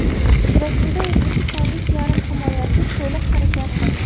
Uchrashuvda o‘zbekistonlik yarim himoyachi to‘liq harakat qildi.